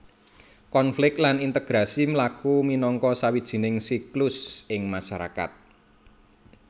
Konflik lan integrasi mlaku minangka sawijining siklus ing masarakat